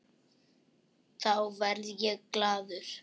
Þá verð ég glaður.